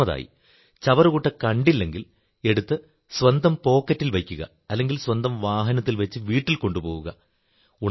മൂന്നാമതായി ചവറുകുട്ട കണ്ടില്ലെങ്കിൽ എടുത്ത് സ്വന്തം പോക്കറ്റിൽ വയ്ക്കുക അല്ലെങ്കിൽ സ്വന്തം വാഹനത്തിൽ വച്ച് വീട്ടിൽ കൊണ്ടുപോവുക